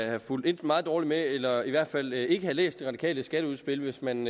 have fulgt meget dårligt med eller i hvert fald ikke have læst de radikales skatteudspil hvis man